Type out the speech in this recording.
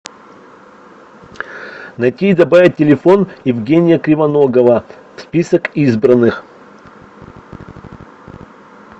найти и добавить телефон евгения кривоногова в список избранных